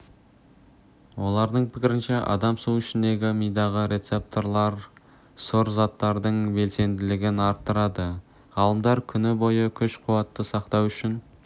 олардың пікірінше адам су ішкенде мидағы рецепторларсұр заттардың белсенділігін арттырады ғалымдар күні бойы күш-қуатты сақтау үшін